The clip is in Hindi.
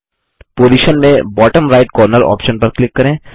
पोजिशन में bottom राइट कॉर्नर आप्शन पर क्लिक करें